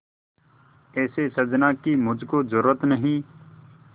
ऐसे साजन की मुझको जरूरत नहीं